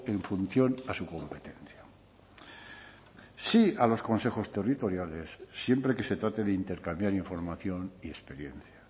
en función a su competencia sí a los consejos territoriales siempre que se trate de intercambiar información y experiencia